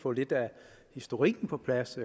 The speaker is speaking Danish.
få lidt af historikken på plads